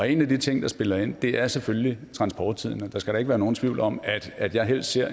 en af de ting der spiller ind er selvfølgelig transporttiden og der skal da ikke være nogen tvivl om at jeg helst ser